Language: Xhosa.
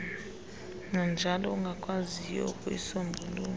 nanjalo ungakwaziyo ukuyisombulula